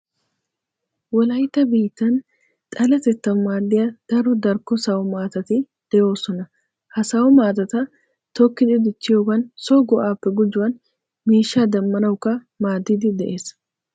Wolaytta biittan xaletettawu maaddiya daro darkko sawumaatati de'oosona. Ha Sawo maatata tokkidi dichchiyogan so go"aappe gujuwan miishshaa demmanawukka maaddiiddi de'ees.